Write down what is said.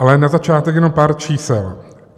Ale na začátek jenom pár čísel.